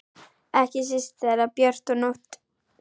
Ekki síst þegar björt er nótt.